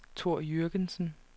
Thor Jürgensen